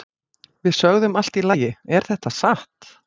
Við sögðum Allt í lagi, er þetta satt?